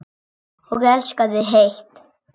Og elskaði heitt.